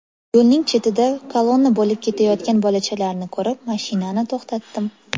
Yo‘lning chetida kolonna bo‘lib ketayotgan bolachalarni ko‘rib, mashinani to‘xtatdim.